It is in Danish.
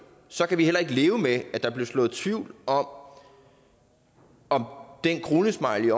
så kan vi ikke leve med at der bliver sået tvivl om om den kronesmiley